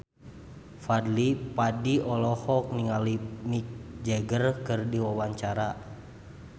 Fadly Padi olohok ningali Mick Jagger keur diwawancara